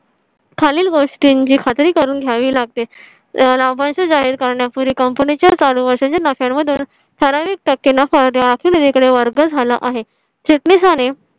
. खालील गोष्टींची खात्री करून घ्यावी लागते. लाभांश जाहीर करण्यापूर्वी company च्या चालू वर्षांच्या नफ्या मधून ठराविक टक्के नफा कडे वर्ग झाला आहे चिटणीसाने.